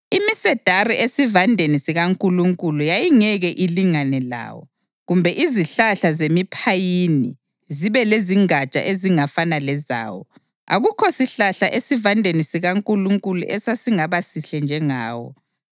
Imisedari esivandeni sikaNkulunkulu yayingeke ilingane lawo, kumbe izihlahla zemiphayini zibe lezingatsha ezingafana lezawo, akukho sihlahla esivandeni sikaNkulunkulu esasingaba sihle njengawo.